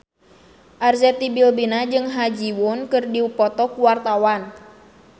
Arzetti Bilbina jeung Ha Ji Won keur dipoto ku wartawan